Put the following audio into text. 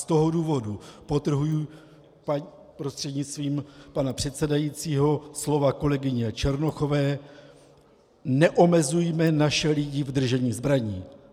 Z toho důvodu podtrhuji prostřednictvím pana předsedajícího slova kolegyně Černochové - neomezujme naše lidi v držení zbraní.